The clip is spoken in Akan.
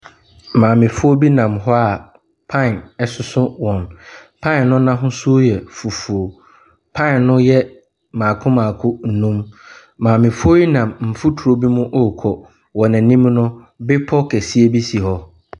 Maamefoɔ bi nam hɔ a pan soso wɔn. Pan no ahosuo yɛ fufuo. Pan no yɛ mmako mmako num. Maamefoɔ yi nam mfutro bi mu rekɔ. Wɔn anim no, bepɔ kɛseɛ bi si hɔ.